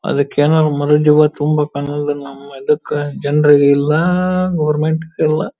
ಅದಕ್ಕೆ ನಾವು ಮನೆ ತುಂಬಾ ಕಣ್ಣಗಳನ್ನ ಅದಕ್ಕೆ ಜನರಿಗೆಲ್ ಎಲ್ಲ ಗವರ್ನಮೆಂಟ್ ಎಲ್ಲ--